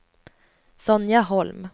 Sonja Holm